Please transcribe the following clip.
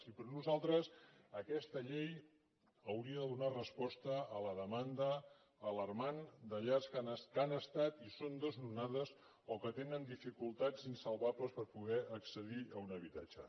i per nosaltres aquesta llei hauria de donar resposta a la demanda alarmant de llars que han estat i són desnonades o que tenen dificultats insalvables per poder accedir a un habitatge